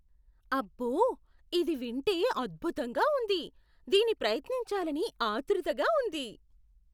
అబ్బో, ఇది వింటే అద్భుతంగా ఉంది! దీని ప్రయత్నించాలని ఆత్రుతగా ఉంది.